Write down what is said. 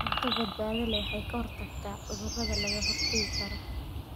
Cunto badbaado leh waxay ka hortagtaa cudurrada laga hortagi karo.